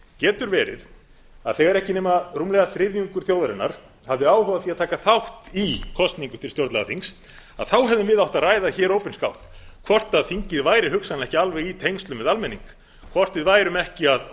getur verið að þegar ekki nema rúmlega þriðjungur þjóðarinnar hafi áhuga á því að taka þátt í kosningu til stjórnlagaþingið hefðum við átt að ræða hér opinskátt hvort þingið væri hugsanlega ekki alveg í tengslum við almenning og hvort við værum ekki að